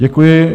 Děkuji.